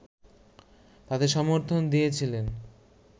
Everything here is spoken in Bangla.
তাতে সমর্থন দিয়েছিলেন